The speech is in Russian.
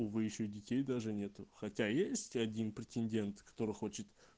вы ещё детей даже нету хотя есть один претендент который хочет